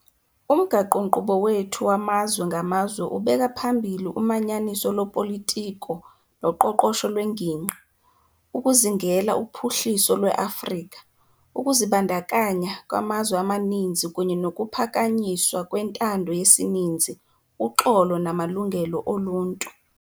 Umgaqo-nkqubo wethu wamazwe ngamazwe ubeka phambili umanyaniso lopolitiko noqoqosho lwengingqi, ukuzingela uphuhliso lweAfrika, ukuzibandakanya kwamazwe amaninzi kunye nokuphakanyiswa kwentando yesininzi, uxolo namalungelo oluntu.